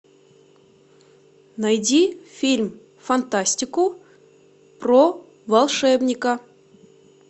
найди фильм фантастику про волшебника